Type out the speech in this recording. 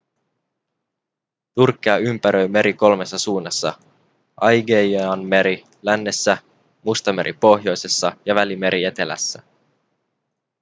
turkkia ympäröi meri kolmessa suunnassa aigeianmeri lännessä mustameri pohjoisessa ja välimeri etelässä